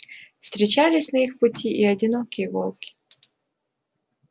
встречались на их пути и одинокие волки